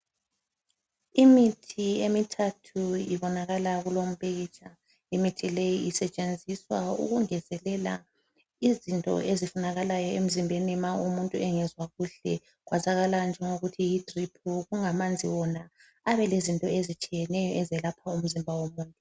Imithi emithathu ibonakala kulompikitsha imithi leyi isetshenziswa ukungezelela izinto ezifunakalayo emzimbeni ma umuntu engezwa kuhle , kwazakala njengokuthi yi drip kungamanzi wona ayabe elezinto ezitshiyeneyo ezelapha umzimba womuntu